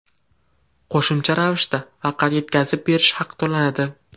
Qo‘shimcha ravishda faqat yetkazib berish haqi to‘lanadi.